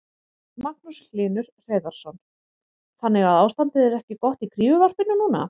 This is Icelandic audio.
Magnús Hlynur Hreiðarsson: Þannig að ástandið er ekki gott í kríuvarpinu núna?